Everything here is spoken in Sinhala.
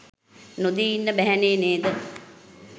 නොදී ඉන්න බැහැ නේ නේද?